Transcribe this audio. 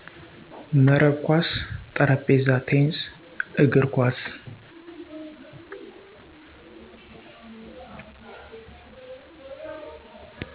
መረብ ኮስ ,ጠረጴዛ ቴንስ, እግር ኮስ